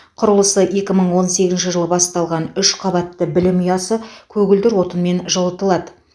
құрылысы екі мың он сегізінші жылы басталған үш қабатты білім ұясы көгілдір отынмен жылытылады